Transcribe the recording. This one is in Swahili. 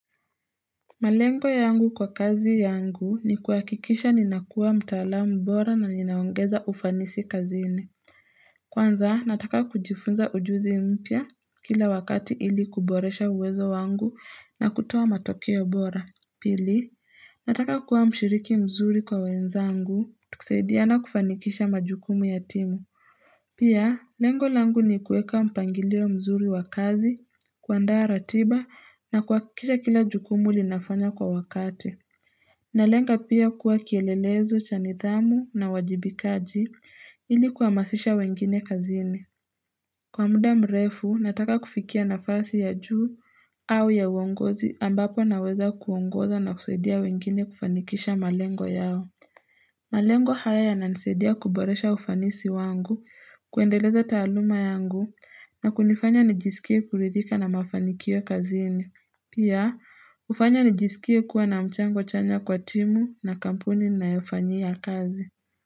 Malengo yangu kwa kazi yangu ni kuhakikisha ninakuwa mtaalamu bora na ninaongeza ufanisi kazini. Kwanza, nataka kujifunza ujuzi mpya kila wakati ili kuboresha uwezo wangu na kutoa matokeo bora. Pili, nataka kuwa mshiriki mzuri kwa wenzangu. Tukisaidiana kufanikisha majukumu ya timu. Pia, lengolangu ni kueka mpangilio mzuri wa kazi, kuandaa ratiba na kuhakikisha kila jukumu li nafanywa kwa wakati. Na lenga pia kuwa kielelezo, cha nithamu na uwajibikaji ili kuhamasisha wengine kazini. Kwa muda mrefu, nataka kufikia nafasi ya juu au ya uongozi ambapo naweza kuongoza na kusaidia wengine kufanikisha malengo yao. Malengo haya ya nanisedia kuboresha ufanisi wangu, kuendeleza taaluma yangu na kunifanya nijisikie kuridhika na mafanikio kazini. Pia, hufanya nijisikie kuwa na mchango chanya kwa timu na kampuni ninayo fanyia kazi.